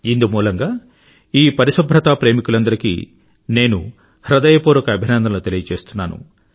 ఇందుమూలంగా ఈ పరిశుభ్రతా ప్రేమికులందరికీ నేను హృదయపూర్వక అభినందనలు తెలుయచేస్తున్నాను